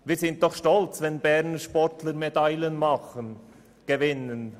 Wir sind doch stolz, wenn Berner Sportler Medaillen holen und gewinnen.